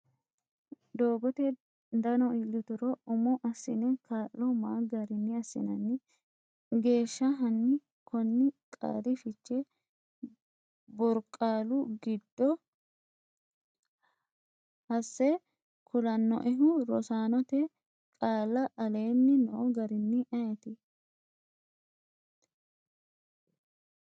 Doogote dano iillituro umo assine kaa’lo ma garinni assinanni? Geeshsha hanni konni qaali fiche borqaallu giddo hase kulannoehu Rosaanote qaalla aleenni noo garinni ayeeti?